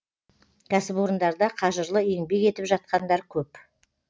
кәсіпорындарда қажырлы еңбек етіп жатқандар көп